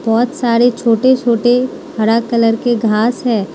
बहोत सारे छोटे छोटे हरा कलर के घास है।